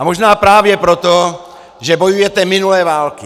A možná právě proto, že bojujete minulé války.